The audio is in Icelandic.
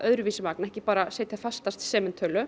magn ekki bara setja fasta